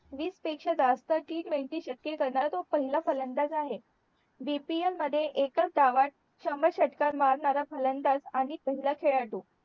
वीस पेक्षा जास्त टी ट्वेंटी शतके करणारा तोच पहिला फलंदाज आहे DPL मध्ये एकाच डावात शंभर षटकार मारणारा फलंदाज आणि पहिला खेळाडू